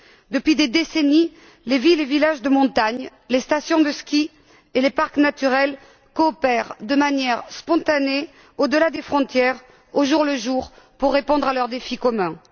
Depuis des décennies, les villes et villages de montagne, les stations de ski et les parcs naturels coopèrent de manière spontanée au delà des frontières, au jour le jour, pour répondre à leurs défis communs.